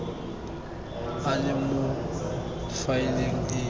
a le mo faeleng e